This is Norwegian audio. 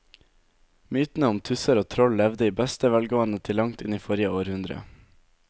Mytene om tusser og troll levde i beste velgående til langt inn i forrige århundre.